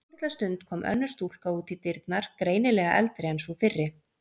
Eftir svolitla stund kom önnur stúlka út í dyrnar, greinilega eldri en sú fyrri.